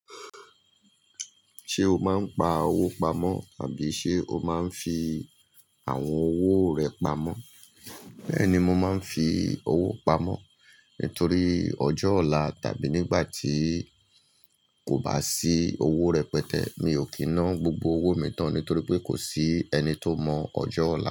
Ṣé o máa ń pa owó pamọ́ tàbí ṣe o máa ń fi àwọn owó rẹ pamọ́? Bẹ́ẹ̀ni, mo máa ń fi owó pamọ́ nítorí ọjọ́ ọ̀la tàbí nígbà tí kò bá sí owó rẹpẹtẹ mi ò kí na gbogbo owó mi tán nítorí pé kò sí ẹni tó mọ ọjọ́ ọ̀la.